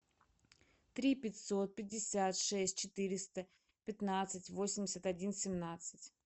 три пятьсот пятьдесят шесть четыреста пятнадцать восемьдесят один семнадцать